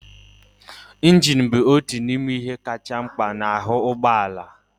Injin bụ otu n'ime ihe kacha mkpa n'ahu ụgbọ ala